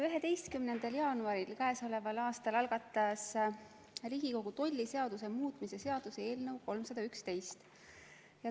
11. jaanuaril k.a algatas Riigikogu tolliseaduse muutmise seaduse eelnõu 311.